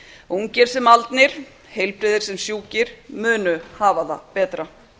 ungir sem haldnir heilbrigðir sem sjúkir munu hafa það betra